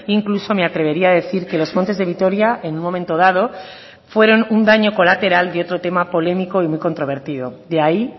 incluso me atrevería a decir que los montes de vitoria en un momento dado fueron un daño colateral y otro tema polémico y muy controvertido de ahí